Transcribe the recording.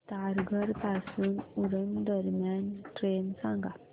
तारघर पासून उरण दरम्यान ट्रेन सांगा